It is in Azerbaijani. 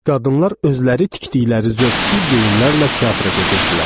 Qadınlar özləri tikdikləri zövqsüz geyimlərlə teatra gedirdilər.